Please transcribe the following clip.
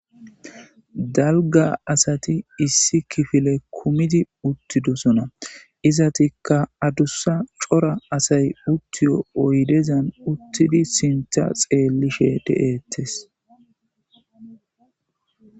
Dalgga Asati issi kifile kummiddi uttidossona.izzettika addussa cora asay uttiyo oyddezan uttidi sinththa xeelishe dee'etees.